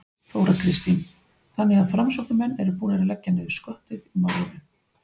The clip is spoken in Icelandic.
Þóra Kristín: Þannig að framsóknarmenn eru búnir að leggja niður skottið í málinu?